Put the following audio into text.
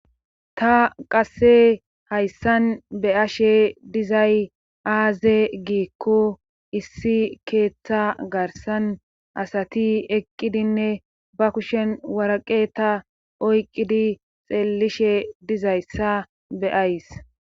Ta qasse hayssan beyashshe dizay aaze giikko issi keeththa garsan asati eqqidinne ba kushen waraqe ta oyqqidi xeellishshe dizayssa be'ays